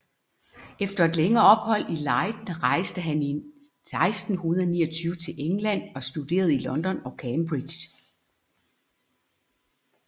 Efter et længere ophold i Leiden rejste han 1629 til England og studerede i London og Cambridge